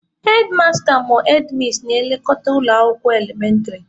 Hedmasta/hedmis na-elekọta ụlọ akwụkwọ elementịrị.